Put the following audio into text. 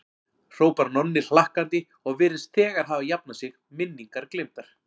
hrópar Nonni hlakkandi og virðist þegar hafa jafnað sig, minningar gleymdar.